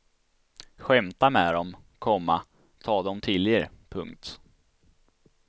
Skämta med dem, komma ta dem till er. punkt